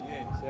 Səy.